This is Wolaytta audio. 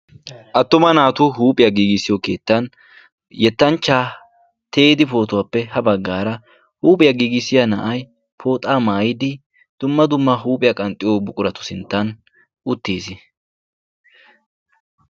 Attuma naatu huuphiyaa giigissiyo keettan yettanchcja Teedi pootuwappe ha baggaara huuphiyaa giigissiya na'ay pooxa maayyidi dumma. dumma huuphiya qnxxiyo buquratu sinttan uttiis.